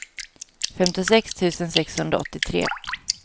femtiosex tusen sexhundraåttiotre